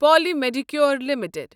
Poly Medicure limited